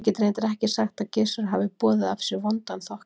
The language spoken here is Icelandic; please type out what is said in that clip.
Ég get reyndar ekki sagt að Gissur hafi boðið af sér vondan þokka.